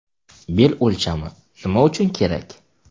Bel o‘lchami Nima uchun kerak?